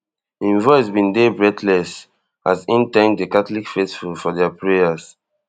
im voice bin dey breathless as im thank di catholic faithful for dia prayers